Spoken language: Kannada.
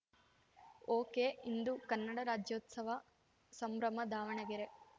ಒಕೆಇಂದು ಕನ್ನಡ ರಾಜ್ಯೋತ್ಸವ ಸಂಭ್ರಮ ದಾವಣಗೆರೆ